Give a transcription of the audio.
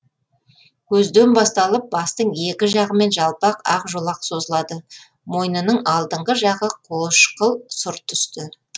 көзден басталып бастың екі жағымен жалпақ ақ жолақ созылады мойнының алдыңғы жағы қошқыл сұр түсті